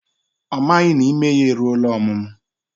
Ọ maghị na ime ya eruola ọmụmụ